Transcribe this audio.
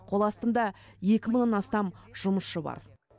қол астымда екі мыңнан астам жұмысшы бар